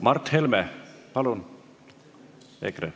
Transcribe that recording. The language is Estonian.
Mart Helme EKRE esindajana, palun!